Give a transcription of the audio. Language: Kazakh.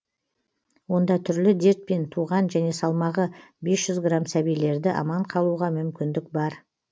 онда түрлі дертпен туған және салмағы бес жүз грамм сәбилерді аман қалуға мүмкіндік бар